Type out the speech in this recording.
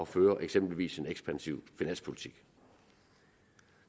føre eksempelvis en ekspansiv finanspolitik